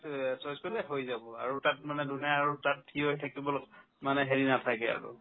এহ্, choice কৰিলে হৈ যাব আৰু তাত মানে ধুনীয়াকৈ তাত থিয় হৈ থাকিব ল' মানে হেৰি নাথাকে আৰু